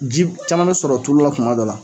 Ji caman be sɔrɔ tulu la tuma dɔw la